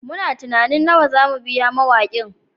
Muna tunanin nawa za mu biya mawakin